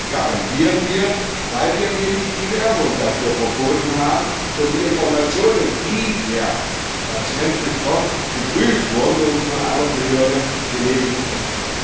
Das garantieren wir, weil wir nämlich die Werbung dafür verboten haben und die Informationen, die der Patient bekommt, geprüft und von einer Behörde genehmigt wurden.